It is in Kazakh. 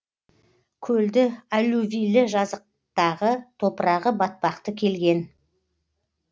көлді аллювийлі жазықтағы топырағы батпақты келген